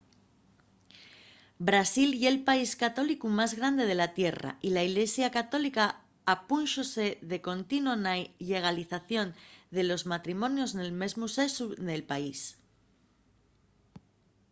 brasil ye’l país católicu más grande de la tierra y la ilesia católica opúnxose de contino a la llegalización de los matrimonios del mesmu sexu nel país